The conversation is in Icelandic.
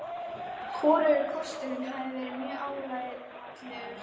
Hvorugur kosturinn hefði verið mjög álitlegur.